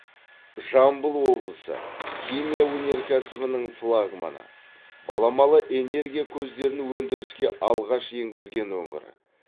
жамбыл облысы химия өнеркәсібінің флагманы баламалы энергия көздерін өндіріске алғаш енгізген өңір